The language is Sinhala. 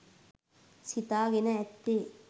සිතාගෙන ඇත්තේ